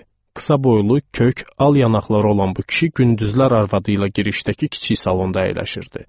Qısa boylu, kök, al yanaqları olan bu kişi gündüzlər arvadı ilə girişdəki kiçik salonda əyləşirdi.